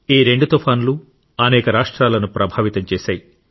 ఈ రెండు తుఫానులు అనేక రాష్ట్రాలను ప్రభావితం చేశాయి